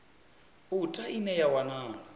u ta ine ya wanala